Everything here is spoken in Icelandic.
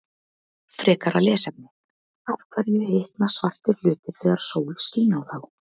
Frekara lesefni: Af hverju hitna svartir hlutir þegar sól skín á þá?